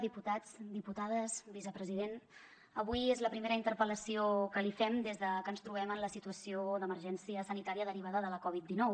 diputats i diputades vicepresident avui és la primera interpel·lació que li fem des de que ens trobem en la situació d’emergència sanitària derivada de la coviddinou